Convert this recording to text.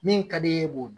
Min ka d'i ye k'o